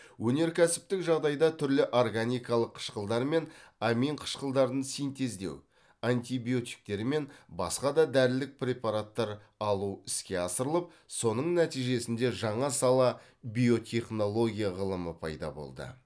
өнеркәсіптік жағдайда түрлі органикалық қышқылдар мен амин қышқылдарын синтездеу антибиотиктер мен басқа да дәрілік препараттар алу іске асырылып соның нәтижесінде жаңа сала биотехнология ғылымы пайда болды